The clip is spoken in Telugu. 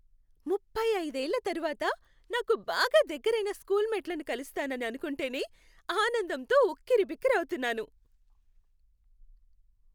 ముప్పై అయిదేళ్ళ తరువాత నాకు బాగా దగ్గరైన స్కూల్ మేట్లను కలుస్తానని అనుకుంటేనే ఆనందంతో ఉక్కిరిబిక్కిరి అవుతున్నాను.